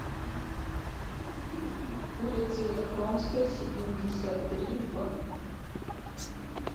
улицей яхромской семьдесят три в